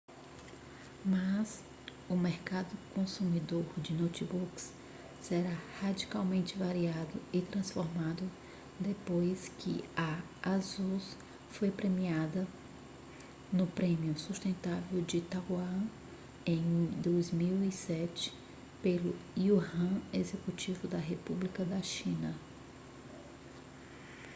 mas o mercado consumidor de notebooks será radicalmente variado e transformado depois que a asus foi premiada no prêmio sustentável de taiwan em 2007 pelo yuan executivo da república da china